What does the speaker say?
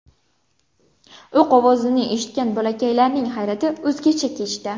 O‘q ovozini eshitgan bolakalaylarning hayrati o‘zgacha kechdi.